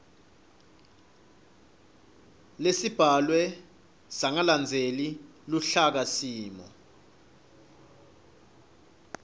lesibhalwe sangalandzeli luhlakasimo